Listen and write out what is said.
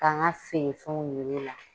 Ka n ka feere fɛnw yir'u la.